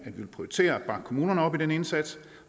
vil prioritere at bakke kommunerne op i den indsats